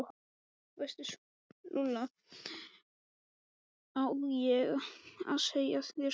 veistu Lulla, á ég að segja þér soldið?